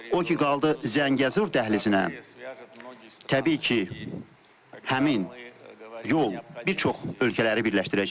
O ki qaldı Zəngəzur dəhlizinə, təbii ki, həmin yol bir çox ölkələri birləşdirəcək.